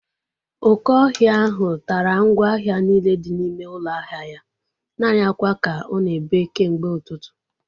Oke ọhịa ahụ tara ngwa ahịa niile dị n'ime ụlọ ahịa ya. Naanị akwa ka ọ na-ebe kemgbe ụtụtụ